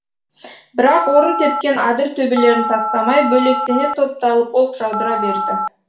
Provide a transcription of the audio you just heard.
бірақ орын тепкен адыр төбелерін тастамай бөлектене топталып оқ жаудыра берді